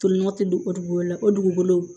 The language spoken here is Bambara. Tolinɔgɔ tɛ don o dugukolo la o dugukolo